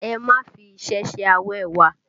Ẹ má fi iṣẹ́ ṣe awẹ́wa!